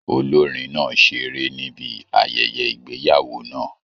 Olorin náà seré níbi ayẹyẹ ìgbéyàwó náà.